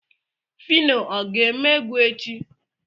Finọ o ga-eme egwu echi?